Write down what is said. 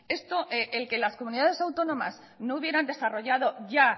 el que las comunidades autónomas no hubieran desarrollado ya